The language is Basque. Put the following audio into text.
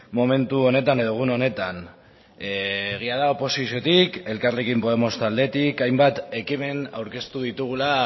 momentu honetan edo gune honetan egia da oposiziotik elkarrekin podemos taldetik hainbat ekimen aurkeztu ditugula